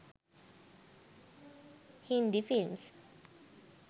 hindi films